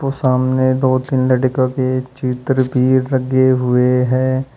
सामने दो तीन लड़कियों के चित्र भी लगे हुए हैं।